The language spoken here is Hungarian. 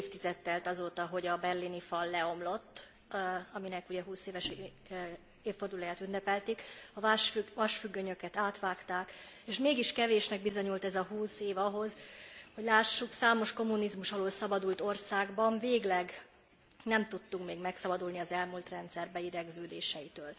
Két évtized telt el azóta, hogy a berlini fal leomlott, aminek ugye 20 éves évfordulóját ünnepelték, a vasfüggönyöket átvágták, és mégis kevésnek bizonyult ez a 20 év ahhoz, hogy lássuk, számos kommunizmus alól szabadult országban végleg nem tudtunk még megszabadulni az elmúlt rendszer beidegződéseitől.